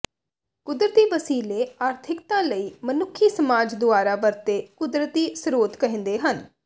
ਕੁਦਰਤੀ ਵਸੀਲੇ ਆਰਥਿਕਤਾ ਲਈ ਮਨੁੱਖੀ ਸਮਾਜ ਦੁਆਰਾ ਵਰਤੇ ਕੁਦਰਤੀ ਸਰੋਤ ਕਹਿੰਦੇ ਹਨ